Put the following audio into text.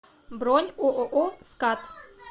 бронь ооо скат